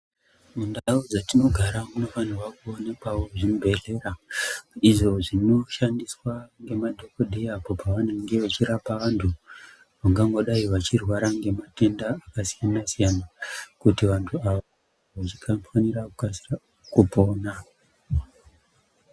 Mundau dzatinogara munofanirwa kuonekwawo zvibhedhlera izvo zvinoshandiswa ngemadhokodheya apo pavanenge vachirapa vantu vangangodai vachirwara ngematenda akasiyana-siyana kuti vantu ava vange vachikasira kupona.